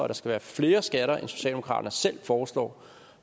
der skal være flere skatter end socialdemokratiet selv foreslår